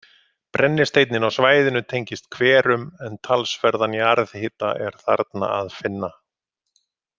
Brennisteinninn á svæðinu tengist hverum en talsverðan jarðhita er þarna að finna.